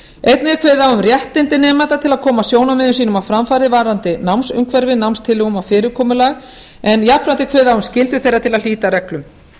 einnig er kveðið á um réttindi nemenda til að koma sjónarmiðum sínum á framfæri varðandi námsumhverfi námstilhögun og fyrirkomulag en jafnframt er kveðið á um skyldu þeirra til að hlíta reglum